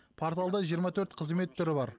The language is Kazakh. порталда жиырма төрт қызмет түрі бар